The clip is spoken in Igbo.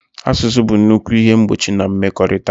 Asụsụ bụ nnukwu ihe mgbochi na mmekọrịta ha.